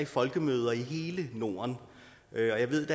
folkemøder i hele norden og jeg ved